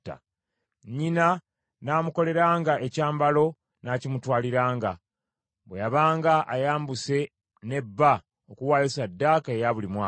Nnyina n’amukolelanga ekyambalo n’akimutwaliranga, bwe yabanga ayambuse ne bba okuwaayo ssaddaaka eya buli mwaka.